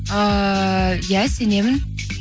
ыыы иә сенемін